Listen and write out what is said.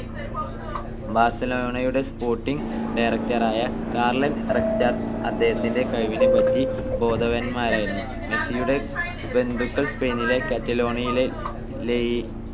ബാർസലോണയുടെ sporting director ആയ Carles Rexach അദ്ദേഹത്തിന്റെ കഴിവിനെ പറ്റി ബോധവാൻമാരായിരുന്നു. മെസ്സിയുടെ ബന്ധുക്കൾ സ്പെയിനിലെ കാറ്റലോണിയയിലെ ലെയ്